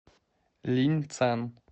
линьцан